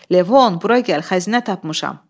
Levon, bura gəl, xəzinə tapmışam.